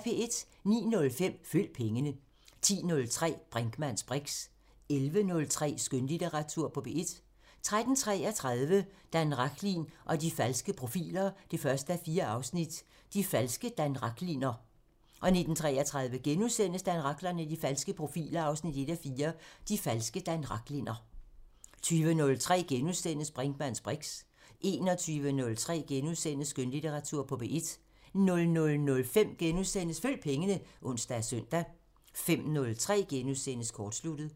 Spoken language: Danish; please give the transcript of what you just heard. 09:05: Følg pengene 10:03: Brinkmanns briks 11:03: Skønlitteratur på P1 13:33: Dan Rachlin og de falske profiler 1:4 – De falske Dan Rachlinner 19:33: Dan Rachlin og de falske profiler 1:4 – De falske Dan Rachlinner * 20:03: Brinkmanns briks * 21:03: Skønlitteratur på P1 * 00:05: Følg pengene *(ons og søn) 05:03: Kortsluttet *